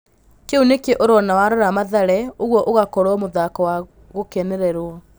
Kĩu nĩkĩo ũrona warora Mathare ũguo ũgakorwo mũthako wa gũkenererwo".